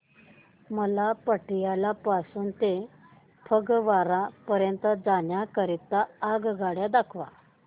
मला पटियाला पासून ते फगवारा पर्यंत जाण्या करीता आगगाड्या दाखवा